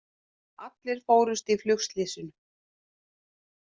Allir fórust í flugslysinu